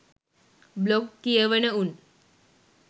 blog කියවන උන්